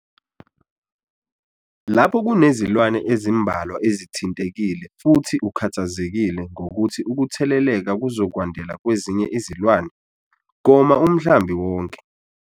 Lapho kunezilwane ezimbalwa ezithintekile futhi ukhathazekile ngokuthi ukutheleleka kuzokwandela kwezinye izilwane, goma umhlambi wonke.